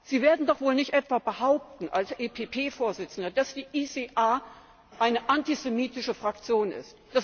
Sie werden doch wohl nicht etwa behaupten, als EVP Vorsitzender, dass die ECR eine antisemitische Fraktion ist.